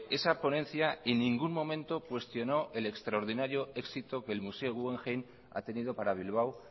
esa ponencia en ningún momento cuestionó el extraordinario éxito que el museo guggenheim ha tenido para bilbao